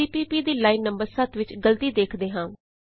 CPP ਦੀ line number 7 ਵਿਚ ਗਲਤੀ ਵੇਖਦੇ ਹਾਂ